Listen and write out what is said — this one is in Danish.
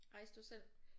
Rejste du selv?